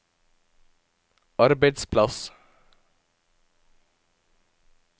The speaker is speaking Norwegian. arbeidsplass